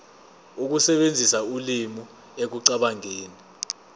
ukusebenzisa ulimi ekucabangeni